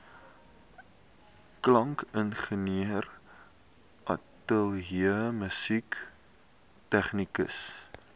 klankingenieur ateljeemusikant tegnikus